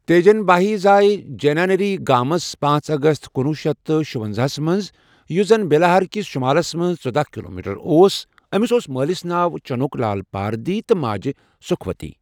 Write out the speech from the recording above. تیجن باہی زأے جینیاری گامس پانژ اَگَست کُنوُہ شیٚتھ تہٕ شُۄنزاہس مَنٛز یُس زن بیلہارکس شمالس مَنٛزژۄداہ کلومیٹر اوس أمس اوس مألس ناو چنوک لال پاردھی تہِ ماجہ سکھوتی.